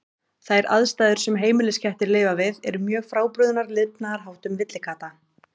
Þær aðstæður sem heimiliskettir lifa við eru mjög frábrugðnar lifnaðarháttum villikatta.